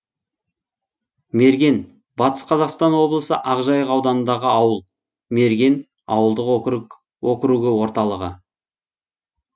мерген батыс қазақстан облысы ақжайық ауданындағы ауыл мерген ауылдық округі орталығы